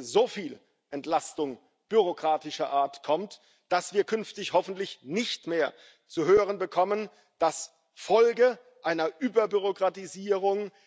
so viel Entlastung bürokratischer Art kommt, dass wir künftig hoffentlich nicht mehr zu hören bekommen, dass Folge einer Überbürokratisierung